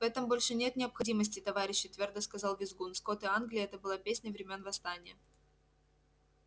в этом больше нет необходимости товарищи твёрдо сказал визгун скоты англии это была песня времён восстания